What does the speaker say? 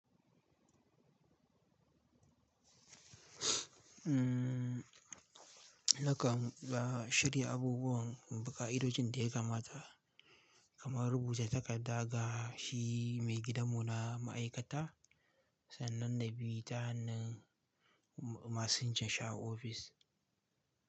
Mm, naka ba shirya abubuwan, ba ƙa'idodin da ya kamata, kamar rubuta takarda ga shi mai gidanmu na ma'aikata sannan na bi ta hannun masinja Shi a ofis.